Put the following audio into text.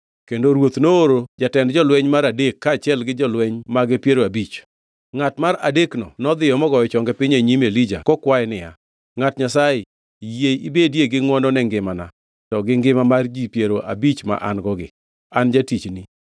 Kendo ruoth nooro jatend jolweny mar adek kaachiel gi jolweny mage piero abich. Ngʼat mar adekno nodhi mogoyo chonge piny e nyim Elija kokwaye niya, “Ngʼat Nyasaye, yie ibedie gi ngʼwono ne ngimana to gi ngima mar ji piero abich ma an-gogi, an jatichni!